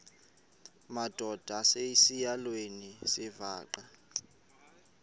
madod asesihialweni sivaqal